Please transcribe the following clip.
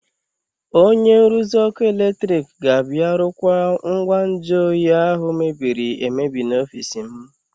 Onye nruzi ọkụ eletrik ga-abịa rụkwaa ngwa nju oyi ahụ mebiri emebi n'ọfiisi m.